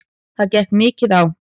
Það gekk mikið á.